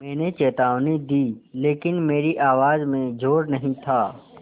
मैंने चेतावनी दी लेकिन मेरी आवाज़ में ज़ोर नहीं था